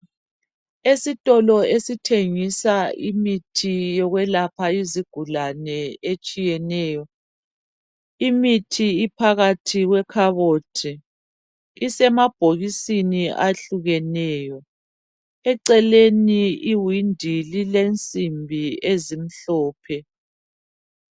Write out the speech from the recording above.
Esitolo esithengisa imithi yokwelapha izigulane etshiyeneyo. Imithi iphakathi kwekhabothi. Isemabhokisini ahlukeneyo. Eceleni iwindi lilensimbi ezimhlophe.